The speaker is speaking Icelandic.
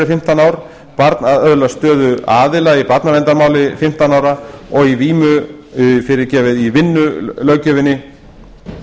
fimmtán ár barn öðlast stöðu aðila í barnaverndarmáli fimmtán ára og í vinnulöggjöfinni